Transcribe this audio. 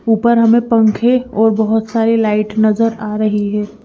ऊपर हमें पंखे और बहोत सारी लाइट नजर आ रही है।